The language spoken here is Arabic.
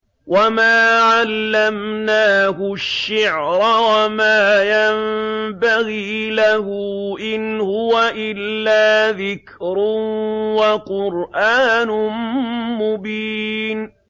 وَمَا عَلَّمْنَاهُ الشِّعْرَ وَمَا يَنبَغِي لَهُ ۚ إِنْ هُوَ إِلَّا ذِكْرٌ وَقُرْآنٌ مُّبِينٌ